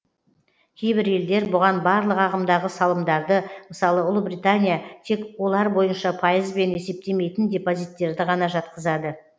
кейбір елдер бұған барлық ағымдағы салымдарды мысалы ұлыбритания тек олар бойынша пайызбен есептемейтін депозиттерді ғана жатқызады